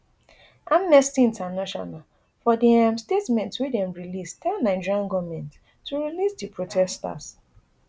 amnesty international for di um statement wey dem release tell nigerian goment to release di protesters